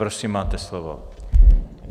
Prosím, máte slovo.